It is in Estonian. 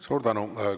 Suur tänu!